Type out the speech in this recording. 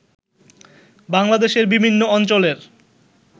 বাংলাদেশের বিভিন্ন অঞ্চলের